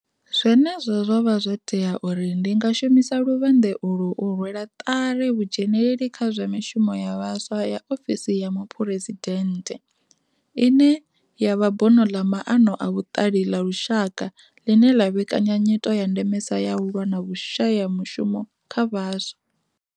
Zwenezwo zwo vha zwo tea uri ndi nga shumisa luvhanḓe ulu u rwela ṱari vhudzheneleli kha zwa mishumo ya vhaswa ya ofisi ya muphuresidennde, ine ya vha bono ḽa maano a vhuṱali ḽa lushaka ḽine ḽa vhekanya nyito ya ndemesa ya u lwa na vhushayamushumo kha vhaswa.